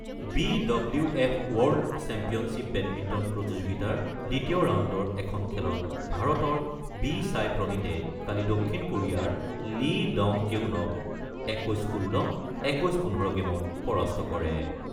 B W F world championship badminton প্ৰতিযোগিতাৰ দ্বিতীয় ৰাউণ্ডৰ এখন খেলত ভাৰতৰ বি ছাই প্ৰণীতে কালি দক্ষিণ কোৰিয়াৰ লী ডং কেউনক ২১-১৬ , ২১-১৫ গেমত পৰাস্ত কৰে।